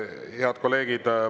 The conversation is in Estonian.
Head kolleegid!